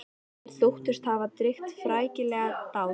Þeir þóttust hafa drýgt frækilega dáð.